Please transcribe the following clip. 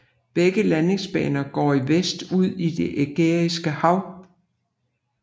Begge landingsbaner går i vest ud i det Ægæiske Hav